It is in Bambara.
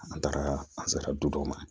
An taara an sera du dɔw ma